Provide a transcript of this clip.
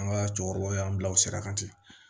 An ka cɛkɔrɔbaw y'an bila o sira kan ten